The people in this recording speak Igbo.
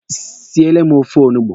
Siele m ofe ọgbọnọ!